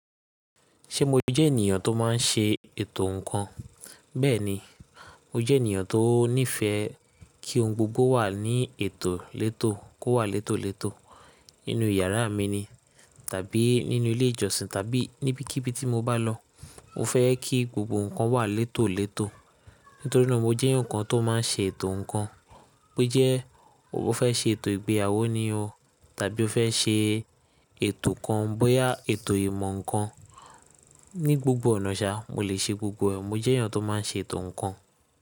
Ṣé mo jẹ́ ènìyàn tó má n ṣe ètò ǹkan? Bẹ́ẹ̀ni, mo jẹ́ ènìyàn tó nífẹẹ kí ohun gbogbo wà ní ètò létò kó wà létòlétò nínú yàrá mi ni tàbí nínú ilé ìjọsìn tàbí níbikíbi tí mo bá lọ. Mo fẹ́ kí gbogbo ǹkan wà létòlétò nítorí náà mo jẹ́ enikan tó máa n ṣe ètò ǹkan. Bo jẹ́ o fẹ́ ṣe ètò ìgbéyàwó ni o tàbí o fẹ́ ṣe ètò kan, bóyá ètò ìmọ̀ ǹkan ní gbogbo ọ̀nà ṣá, mo lè ṣe gbogbo ẹ. Mo jẹ́ ènìyàn tó má n ṣe ètò ǹkan.